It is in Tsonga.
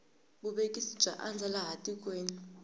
vuvekisi bya andza laha tikweni